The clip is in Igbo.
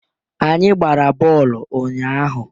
Anyị gbara bọọlụ ụnyahụ.